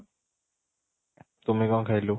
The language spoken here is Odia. ତୁମେ କ'ଣ ଖାଇଲୁ?